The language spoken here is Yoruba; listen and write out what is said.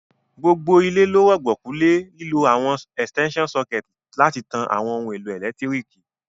Gbogbo ilé lo rùgbọ̀kú le lílo àwon extension sucket láti tan àwon oun èlò ẹ́lẹ̀ntirikì